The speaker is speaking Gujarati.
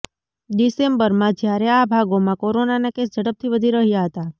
ડિસેમ્બરમાં જયારે આ ભાગોમાં કોરોનાના કેસ ઝડપથી વધી રહ્યા હતા